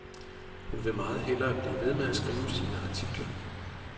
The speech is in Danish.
Hun vil meget hellere blive ved med at skrive sine artikler.